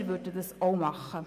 Das würden wir auch tun.